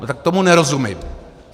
No tak tomu nerozumím.